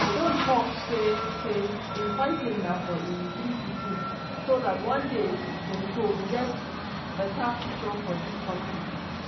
e don tok say say im fighting na for im three pikin "so dat one day dem go get bata future for dis kontri".